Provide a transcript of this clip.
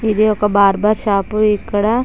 ఇది ఒక barber shop . ఇక్కడ--